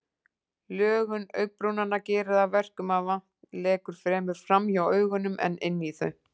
Lögun augabrúnanna gerir að verkum að vatn lekur fremur framhjá augunum en inn í þau.